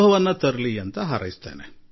ಇದರೊಂದಿಗೆ ತಾಜಾತನದ ಅನುಭವವೂ ಆಗುತ್ತಿದೆ